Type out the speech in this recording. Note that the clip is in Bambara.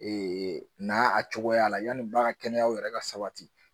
n'a a cogoya la yanni ba ka kɛnɛya yɛrɛ ka sabati